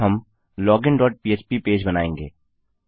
अब हम login dot पह्प पेज बनायेंगे